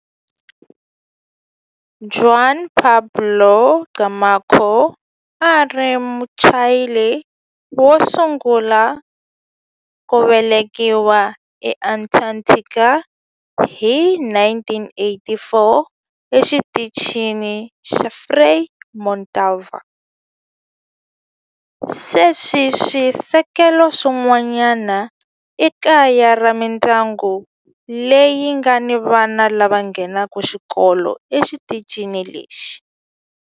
Juan Pablo Camacho a a ri Muchile wo sungula ku velekiwa eAntarctica hi 1984 eXitichini xa Frei Montalva. Sweswi swisekelo swin'wana i kaya ra mindyangu leyi nga ni vana lava nghenaka xikolo exitichini lexi.